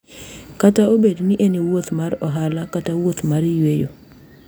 Kata obedo ni en wuoth mar ohala kata wuoth mar yweyo,